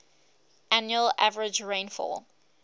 annual average rainfall